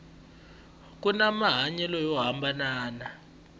kuni mahanyelo yo hambanana